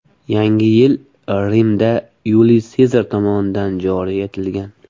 Yangi yil Rimda Yuliy Sezar tomonidan joriy etilgan.